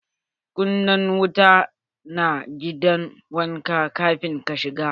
Kunna wuta na gidan wanka kafin ka shiga!